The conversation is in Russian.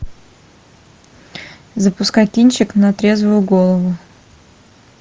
запускай кинчик на трезвую голову